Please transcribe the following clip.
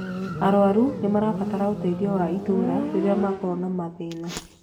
arwaru nĩmarabatara ũteithio wa itũra rĩrĩa makorwo na mathĩna